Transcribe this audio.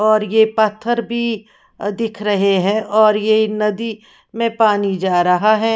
और ये पत्थर भी दिख रहे है और ये नदी में पानी जा रहा है।